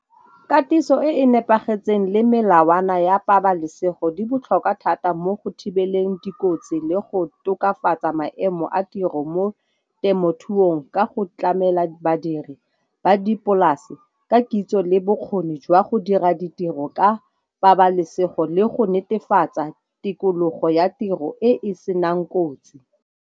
Katiso e e nepagetseng le melawana ya pabalesego di botlhokwa thata mo go thibeleng dikotsi le go tokafatsa maemo a tiro mo temothuong ka go tlamela badiri ba dipolase ka kitso, le bokgoni jwa go dira ditiro ka pabalesego le go netefatsa tikologo ya tiro e e senang kotsi.